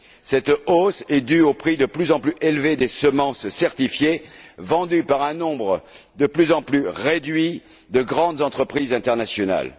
Cette hausse est due au prix de plus en plus élevé des semences certifiées, vendues par un nombre de plus en plus réduit de grandes entreprises internationales.